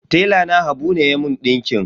Tela na habu ne ya mun ɗinkin.